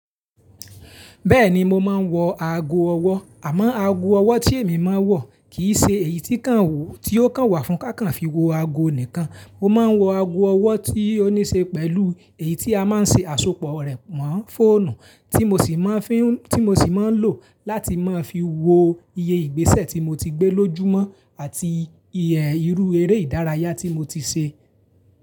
Bẹ́ẹ̀ni mo máa ń wọ ago ọwọ́, àmọ́ ago ọwọ́ tí èmi máa ń wọ kì í ṣe èyí tí kàn wò, tí ó kan wà fún kákan fi wọ ago nìkan. O máa ń wọ ago ọwọ́ tí ó níí ṣe pẹ̀lú èyí tí a máa ń ṣe àsopọ̀ rẹ̀ mọ́ fóònù, tí mo sì máa ń fín, tí mo sì máa ń lò láti máa fi wo iye ìgbésẹ̀ tí mo ti gbé lójúmọ́ àti iye irú eré ìdárayá tí mo ti ṣe.